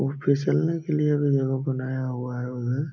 और फिसलने के लिए भी यहां बनाया हुआ है उधर।